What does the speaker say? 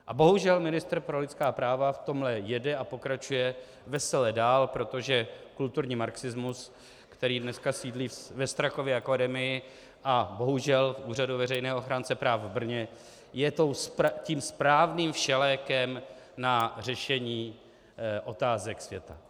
A bohužel ministr pro lidská práva v tomto jede a pokračuje vesele dál, protože kulturní marxismus, který dneska sídlí ve Strakově akademii a bohužel v Úřadu veřejného ochránce práv v Brně, je tím správným všelékem na řešení otázek světa.